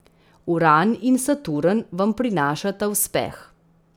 Uran in Saturn vam prinašata uspeh.